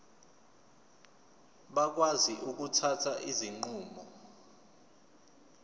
bakwazi ukuthatha izinqumo